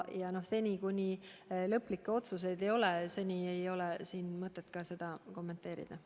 Seni kuni lõplikke otsuseid tehtud ei ole, ei ole siin mõtet seda ka kommenteerida.